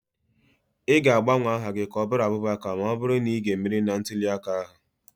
Ị ga-agbanwe aha gị ka ọ bụrụ Abubakar ma ọ bụrụ na ị ga-emeri na ntule aka ahụ.